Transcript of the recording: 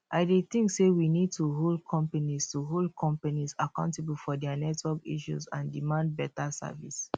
i dey think say we need to hold companies to hold companies accountable for dia network issues and demand beta service